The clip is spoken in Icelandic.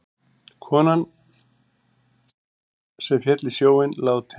Konan sem féll í sjóinn látin